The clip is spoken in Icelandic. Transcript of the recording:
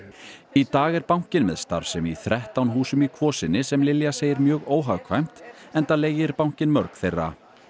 í dag er bankinn með starfsemi í þrettán húsum í Kvosinni sem Lilja segir mjög óhagkvæmt enda leigi bankinn mörg þeirra